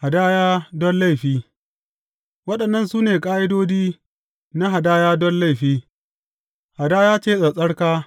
Hadaya don laifi Waɗannan su ne ƙa’idodi na hadaya don laifi, hadaya ce tsattsarka.